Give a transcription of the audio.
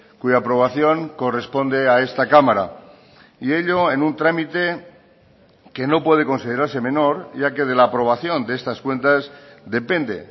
cuya aprobación corresponde a esta cámara y ello en un trámite que no puede considerarse menor ya que de la aprobación de estas cuentas depende